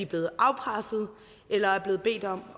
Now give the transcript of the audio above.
blevet afpresset eller er blevet bedt om